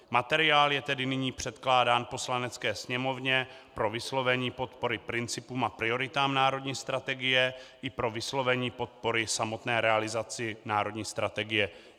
Materiál je tedy nyní předkládán Poslanecké sněmovně pro vyslovení podpory principům a prioritám národní strategie i pro vyslovení podpory samotné realizaci národní strategie.